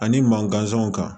Ani man gansanw kan